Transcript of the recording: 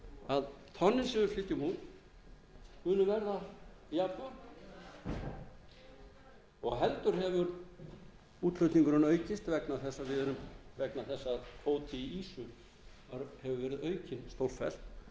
að tonnin sem við flytjum út munu verða jafn og heldur hefur útflutningurinn aukist vegna þess að kvóti í ýsu hefur verið aukinn stórfellt